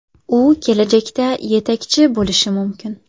U kelajakda yetakchi bo‘lishi mumkin.